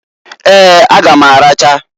Eeǃ A ga m aracha.